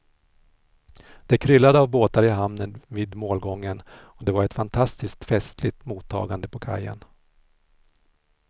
Det kryllade av båtar i hamnen vid målgången och det var ett fantastiskt festligt mottagande på kajen.